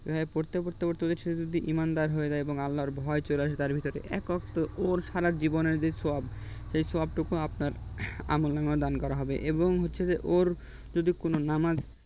এইভাবে পড়তে পড়তে সে যদি ঈমানদার হয়ে যায় আল্লাহর ভয় চলে আসে তার ভিতরে একাত্ত ও সারা জীবনের যে সব সেই সব টুকু আপনার আল্লাহর নামে দান করা হবে এবং হচ্ছে ওর যদি কোন নামাজ